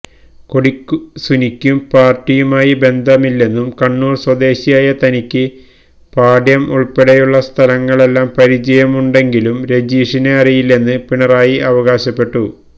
കൊടി സുനിക്കും പാര്ട്ടിയുമായി ബന്ധമില്ലെന്നും കണ്ണൂര് സ്വദേശിയായ തനിക്ക് പാട്യം ഉള്പ്പെടെയുള്ള സ്ഥലങ്ങളെല്ലാം പരിചയമുണ്ടെങ്കിലും രജീഷിനെ അറിയില്ലെന്ന് പിണറായി അവകാശപ്പെട്ടു